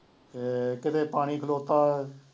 ਅਤੇ ਕਿਤੇ ਪਾਣੀ ਖਲੋਤਾ